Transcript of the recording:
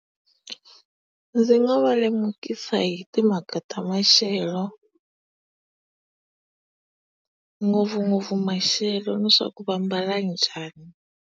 Ndzi nga va lemukisa hi timhaka ta maxelo ngopfungopfu maxelo ni swa ku va mbala njhani.